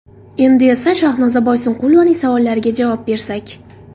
Endi esa Shahnoza Boyqunusovaning savollariga javob bersak.